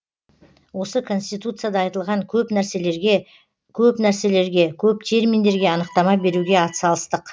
осы конституцияда айтылған көп нәрселерге көп нәрселерге көп терминдерге анықтама беруге атсалыстық